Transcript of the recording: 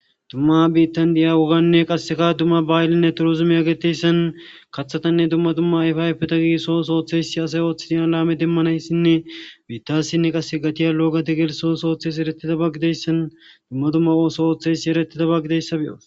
Dumma biittan diya woganne qasseka dumma baayllinne turozume a geteyssan kathatanne dumma dumma ayfayfeta gi soosooththeysi asay ooththidiya laame demmanayssinne biittassinne qass gatiya looga te geelsoo soothes eretita baggideyssan dumma dumma ooso ooththeysi erettita baggideyssabe'o.